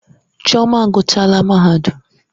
Chioma aguchaala mahadum.